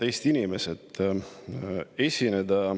Head Eesti inimesed!